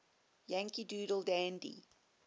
yankee doodle dandy